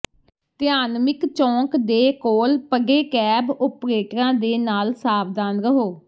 Tiananmen ਚੌਂਕ ਦੇ ਕੋਲ ਪਡੇਕੈਬ ਓਪਰੇਟਰਾਂ ਦੇ ਨਾਲ ਸਾਵਧਾਨ ਰਹੋ